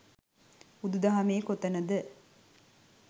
බුදු දහමේ කොතනද